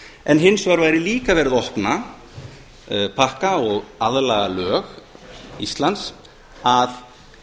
en hins vegar væri líka verið að opna pakka og aðlaga lög íslands að